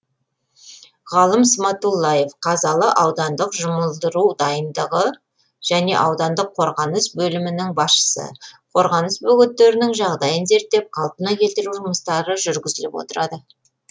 ғалым сматуллаев қазалы аудандық жұмылдыру дайындығы және аудантық қорғаныс бөлімінің басшысы қорғаныс бөгеттерінің жағдайын зерттеп қалпына келтіру жұмыстары жүргізіліп отырады